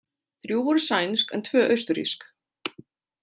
Þrjú voru sænsk en tvö austurrísk.